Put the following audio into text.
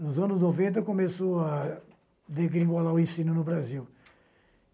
Nos anos noventa, começou a degringolar o ensino no Brasil.